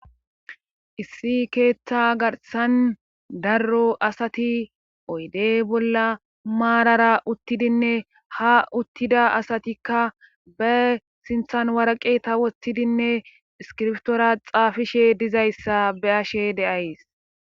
issi keeththa garsan darro asati oyde bolla maarara uttidinne ha uttida asatikka be sinthan warqe ta wottidinne iskirftoora xaafishe dizayssa be ashe deays